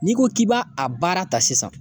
N'i ko k'i b'a a baara ta sisan